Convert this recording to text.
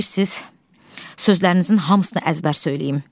İstəyirsiz sözlərinizin hamısını əzbər söyləyim.